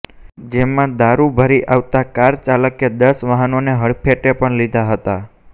જેમાં દારૂ ભરી આવતા કાર ચાલકે દસ વાહનોને હડફેટે પણ લીધા હતા